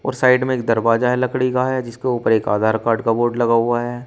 और साइड में एक दरवाजा लकड़ी का है जिसके ऊपर एक आधार कार्ड का बोर्ड लगा हुआ है।